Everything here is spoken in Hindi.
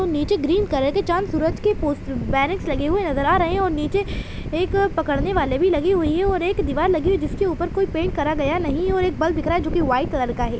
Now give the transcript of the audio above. निचे ग्रीन कलर के चाँद सूरज के पोस्टर बेनर्स लगे हुए नज़र आ रहे है और निचे एक पकड़ने वाले भी लगी हुई है और एक दिवार लगी हुई है जिसके ऊपर कोई पेंट करा गया नहीं और एक बल्ब दिख रहा है जो वाइट कलर का है।